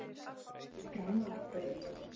Ránarbraut